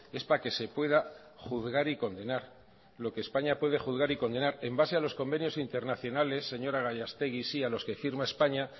es para que se pueda juzgar y condenar lo que españa puede juzgar y condenar en base a los convenios internacionales señora gallastegui sí a los que firma españa